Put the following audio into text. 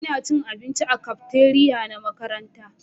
Ina cin abinci a cafeteria na makaranta